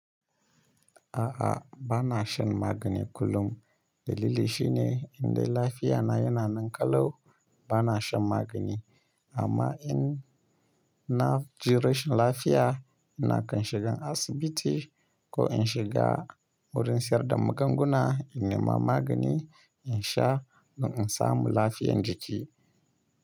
A'a, ba na shan magani kullum. Dalili shine indai lafiya na yana nan ƙalau, ba na shan magani. Amma in na ji rashin lafiya, ina kan shiga asibiti ko in shiga wurin sayar da magunguna, in nema magani in sha don in samu lafiyan jiki.